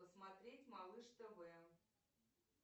посмотреть малыш тв